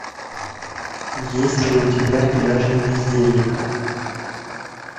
есть ли у тебя пляжный бездельник